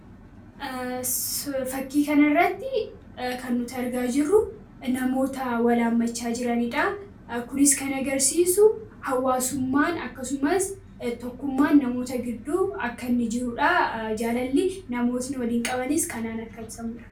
fakkii kana irratti kan nuti argaa jirru namoota wala haammachaa jiraniidha. kunis kan agarsiisu hawaasummaan akkasumas tokkummaan namoota gidduu akka inni jirudha jaalalli namootni waliin qabaniis kanaan akka ibsamudha.